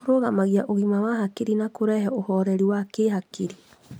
Kũrũgamagia ũgima wa hakiri na kũrehe ũhoreri wa kĩhakiri.